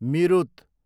मिरुत